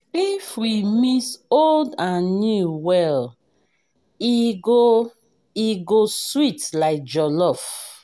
if we mix old and new well e go e go sweet like jollof.